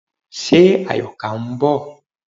Ṣe Àyọ̀ká ń bọ̀?